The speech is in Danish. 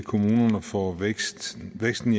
kommunerne for væksten væksten